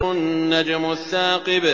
النَّجْمُ الثَّاقِبُ